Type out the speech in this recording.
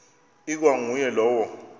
ikwa nguye lowo